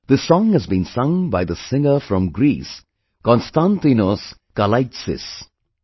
This song has been sung by the singer from Greece 'Konstantinos Kalaitzis'